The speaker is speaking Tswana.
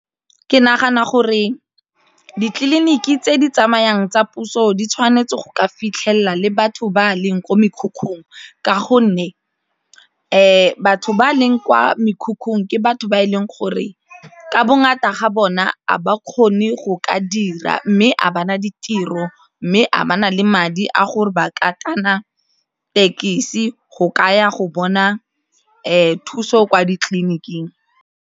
Ke nagana gore ditleliniki tse di tsamayang tsa puso di tshwanetse go ka fitlhelela le batho ba a leng kwa mekhukhung ka gonne batho ba a leng kwa mekhukhung ke batho ba e leng gore ka bongata ga bona a ba kgone go ka dira mme a bana ditiro mme a ba na le madi a gore ba ka thekisi go ka ya go bona thuso kwa ditleliniking.